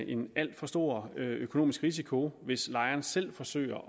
en alt for stor økonomisk risiko hvis lejeren selv forsøger